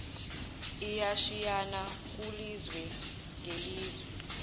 iyashiyana kulizwe ngelizwe